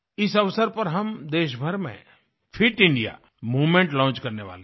इस अवसर पर हम देश भर में फिट इंडिया मूवमेंट लॉन्च करने वाले हैं